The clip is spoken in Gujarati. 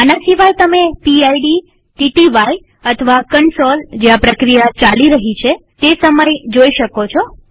આના સિવાય તમે પીડ TTY અથવા કન્સોલ જ્યાં પ્રક્રિયા ચાલી રહી છે તેસમય જોઈ શકો છો